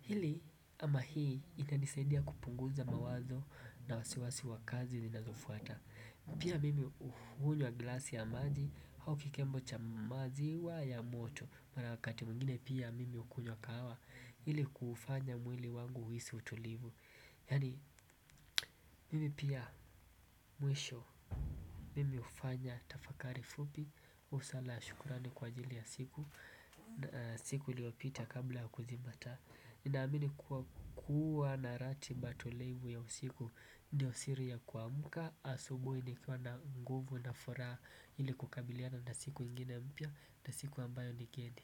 Hili ama hii ina nisaidia kupunguza mawazo na wasiwasi wa kazi ninazofuata. Pia mimi hunywa glasi ya maji au kikembwe cha maziwa ya moto mara wakati mwingine pia mimi hukunywa kahawa ili kuufanya mwili wangu uhisi utulivu yani mimi pia mwisho mimi hufanya tafakari fupi husala ya shukurani kwa ajili ya siku na siku iliyopita kabla ya kuzima taa nina amini kuwa, kuwa na ratiba tulivu ya usiku ndio siri ya kuamuka asubui nikiwa na nguvu na furaha ili kukabiliana na siku ingine mpya na siku ambayo nigeni.